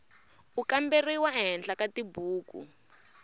u kamberiwa ehenhla ka tibuku